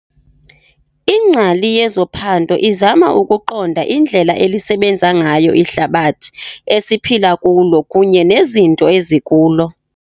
Ingcali yezophando izama ukuqonda indlela elisebenza ngayo ihlabathi esiphila kulo kunye nezinto ezikulo.